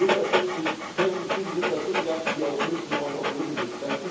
150 Pestizide sind da zugelassen, die europäischen Bauern verboten sind.